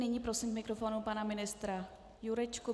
Nyní prosím k mikrofonu pana ministra Jurečku.